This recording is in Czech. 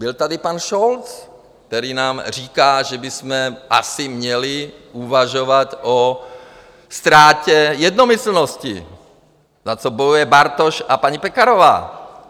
Byl tady pan Scholz, který nám říká, že bychom asi měli uvažovat o ztrátě jednomyslnosti, za co bojuje Bartoš a paní Pekarová.